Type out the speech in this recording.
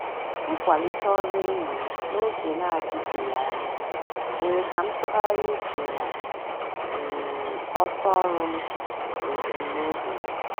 Mkwalite ọrụ enyi m n'oge na-adịbeghị anya, mere ka m tụgharịa uche na um ọsọ ọrụ m na ebumnobi m.